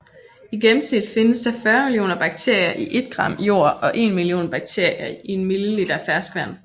I gennemsnit findes der 40 millioner bakterier i et gram jord og en million bakterier i en milliliter ferskvand